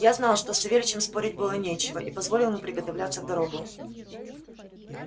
я знал что с савельичем спорить было нечего и позволил ему приготовляться в дорогу